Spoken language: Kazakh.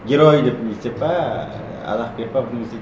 герой деп не істеп пе арақ беріп пе